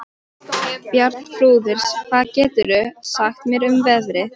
Bjarnþrúður, hvað geturðu sagt mér um veðrið?